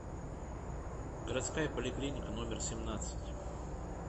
городская поликлиника номер семнадцать